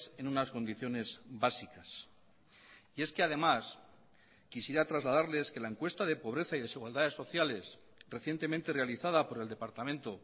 en unas condiciones básicas y es que además quisiera trasladarles que la encuesta de pobreza y desigualdades sociales recientemente realizada por el departamento